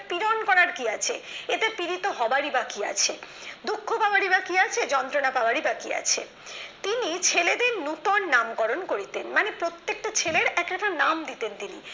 পিরন করার কি আছে এতে পীড়িত হবারই বাকি আছে দুঃখ পাওয়ারই বাকি আছে যন্ত্রণা পাওয়ার বাকি আছে তিনি ছেলেদের নতুন নামকরণ করিতেন মানে প্রত্যেকটা ছেলেটা একটা করে নাম দিতেন তিনি মানুষের